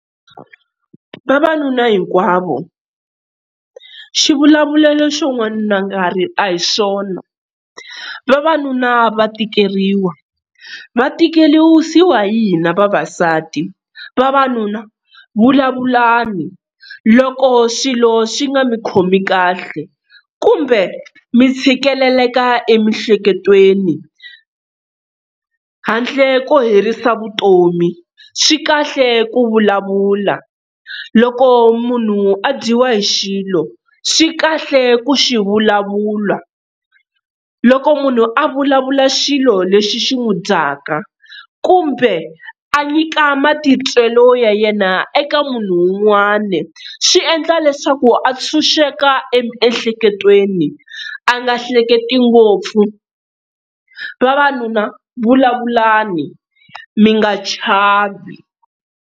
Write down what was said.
Vavanuna hinkwavo xivulavulelo xo n'wanuna a nga rili a hi swona, vavanuna va tikeriwa va tikelisiwa hi hina vavasati. Vavanuna vulavulani loko xilo xi nga mi khomi kahle kumbe mi tshikeleleka emiehleketweni handle ko herisa vutomi swi kahle ku vulavula loko munhu a dyiwa hi xilo, swi kahle ku xi vulavula. Loko munhu a vulavula xilo lexi xi n'wi dyaka kumbe a nyika matitwelo ya yena eka munhu wun'wana swi endla leswaku a tshunxeka emiehleketweni a nga hleketi ngopfu, vavanuna vulavulani mi nga chavi.